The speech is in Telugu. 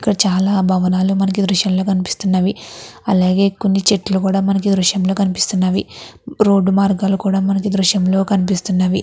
ఇక్కడ చాలా భవనాలు మనకి ఈ దృశ్యం లో కనిపిస్తున్నవి అలాగే కొన్ని చెట్లు కూడా మనకి ఈ దృశ్యం లో కనిపిస్తున్నవి రోడ్డు మార్గాలు కూడా మనకి ఈ దృశ్యం లో కనిపిస్తున్నవి.